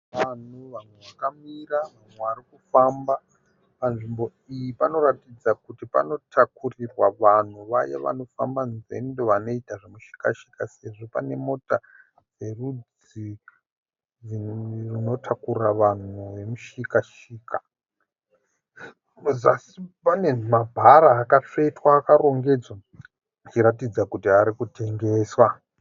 Vanhu vakamira, mumwe ari kufamba. Panzvimbo iyi panoratidza kuti panotakurirwa vanhu vaya vanofamba nzendo vanoita zvemushikashika sezvo pane mota dzerudzi runotakura vanhu rwemushikashika. Pazasi pane mabhara akatsvetwa akarongedzwa zvichiratidza kuti ari kutengeswa.